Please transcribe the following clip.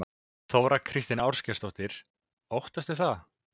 Þóra Kristín Ásgeirsdóttir: Óttastu það?